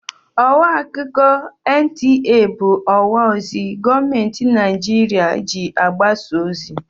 Ọwa akụkọ NTA bụ ọwa ozi gọọmentị Naịjirịa ji agbasa ozi.